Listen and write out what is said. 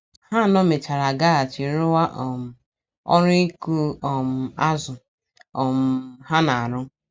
Ha anọ mechara gaghachi rụwa um ọrụ ịkụ um azụ um ha na - arụ.